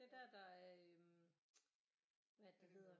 Det er der der er øh hvad er det det hedder